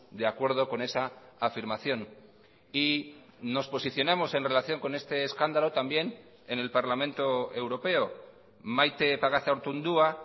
de acuerdo con esa afirmación y nos posicionamos en relación con este escándalo también en el parlamento europeo maite pagazaurtundúa